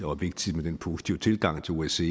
og vigtigt med den positive tilgang til osce